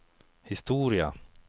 historia